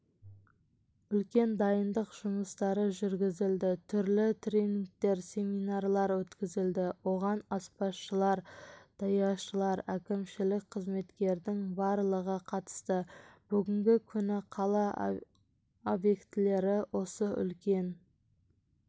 үлкен дайындық жұмыстары жүргізілді түрлі тренингтер семинарлар өткізілді оған аспазшылар даяшылар әкімшілік қызметкердің барлығы қатысты бүгінгі күні қала объектілері осы үлкен